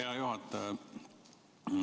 Hea juhataja!